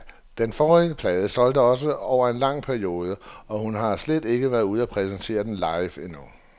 Den forrige plade solgte også over en lang periode, og hun har slet ikke været ude og præsentere den live endnu.